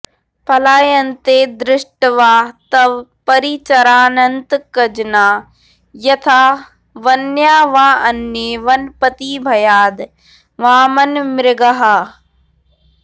पलायन्ते दृष्ट्वा तव परिचरानन्तकजना यथा वन्या वाऽन्ये वनपतिभयाद् वामनमृगाः